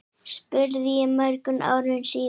spurði ég mörgum árum síðar.